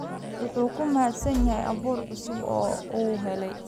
Wuu ku mahadsan yahay abuur cusub oo uu helay.